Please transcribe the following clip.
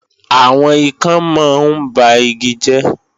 Àwọn ikán mọ ń ba igi jẹ́